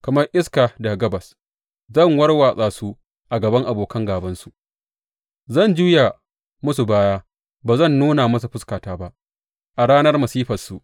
Kamar iska daga gabas zan warwatsa su a gaban abokan gābansu; zan juya musu bayana, ba zan nuna musu fuskata ba a ranar masifarsu.